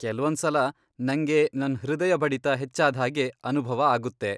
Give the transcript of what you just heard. ಕೆಲ್ವೊಂದ್ಸಲ ನಂಗೆ ನನ್ ಹೃದಯ ಬಡಿತ ಹೆಚ್ಚಾದ್ಹಾಗೆ ಅನುಭವ ಆಗುತ್ತೆ.